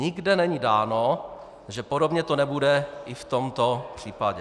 Nikde není dáno, že podobně to nebude i v tomto případě.